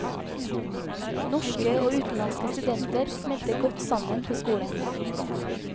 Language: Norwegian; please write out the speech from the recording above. Norske og utenlandske studenter smelter godt sammen på skolen.